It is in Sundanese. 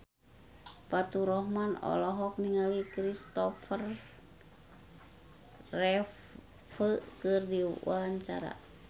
Faturrahman olohok ningali Christopher Reeve keur diwawancara